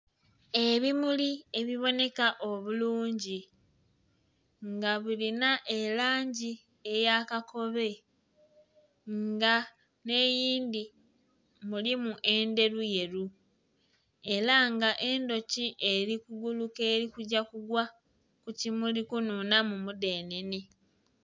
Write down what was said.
Ebimuli ebiboneka obulungi nga bulina erangi eya kakobe nga nheyindhi mulimu endheru yeru era nga endhuki eri kuguluka erikugya kugwa kukimuli kunhunhamu omudhenhenhe.